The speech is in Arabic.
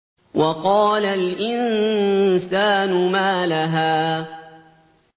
وَقَالَ الْإِنسَانُ مَا لَهَا